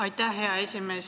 Aitäh, hea esimees!